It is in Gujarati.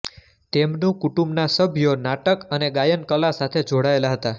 તેમનું કુટુંબના સભ્યો નાટક અને ગાયન કલા સાથે જોડાયેલા હતા